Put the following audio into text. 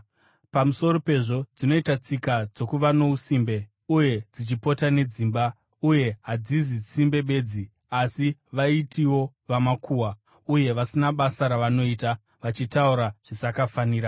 Pamusoro pezvo, dzinoita tsika dzokuva nousimbe uye dzichipota nedzimba. Uye hadzizi simbe bedzi, asi vaitiwo vamakuhwa, uye vasina basa ravanoita, vachitaura zvisakafanira.